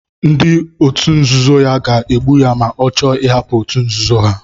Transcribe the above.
Ndị òtù nzuzo ya ga-egbu ya ma ọ chọọ ịhapụ òtù nzuzo ha.